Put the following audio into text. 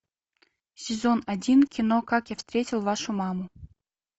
сезон один кино как я встретил вашу маму